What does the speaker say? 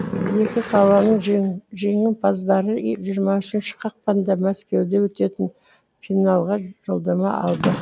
екі қаланың жеңімпаздары жиырма үшінші ақпанда мәскеуде өтетін финалға жолдама алды